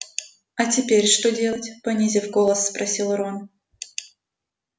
а теперь что делать понизив голос спросил рон